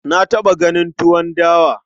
Na taɓa ganin tuwon dawa.